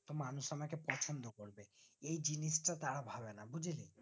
তো মানুষ আমাকে পছন্দ করবে এই জিনিসটা তারা ভাবেন বুঝেছিস